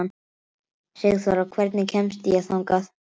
Sigþóra, hvernig kemst ég þangað?